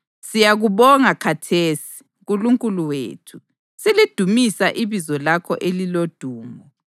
Siyakubonga khathesi, Nkulunkulu wethu, silidumisa ibizo lakho elilodumo.